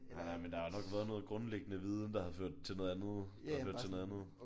Nej nej men der har nok været noget grundlæggende viden der har ført til noget andet der har ført til noget andet